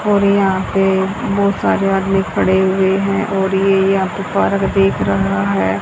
और यहां पे बहुत सारे आदमी खड़े हुए हैं और ये यहां पे पार्क दिख रहा है।